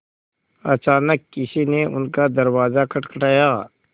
अचानक किसी ने उनका दरवाज़ा खटखटाया